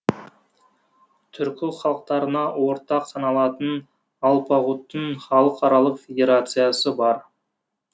түркі халықтарына ортақ саналатын алпагуттың халықаралық федерациясы бар